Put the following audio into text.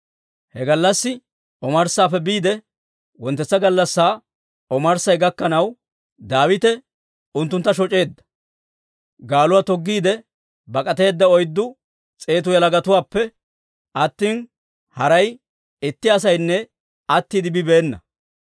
He gallassi omarssaappe biide wonttetsa gallassaa omarssay gakkanaw, Daawite unttuntta shoc'eedda; gaaluwaa toggiide bak'ateedda oyddu s'eetu yalagatuwaappe attina, haray itti asaynne attiide bibeena.